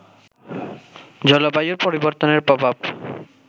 জলবায়ুর পরিবর্তনের প্রভাব